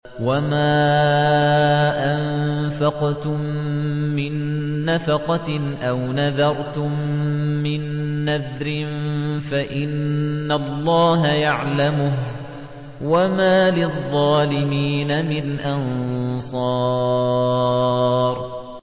وَمَا أَنفَقْتُم مِّن نَّفَقَةٍ أَوْ نَذَرْتُم مِّن نَّذْرٍ فَإِنَّ اللَّهَ يَعْلَمُهُ ۗ وَمَا لِلظَّالِمِينَ مِنْ أَنصَارٍ